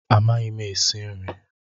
Amaghị m esi nri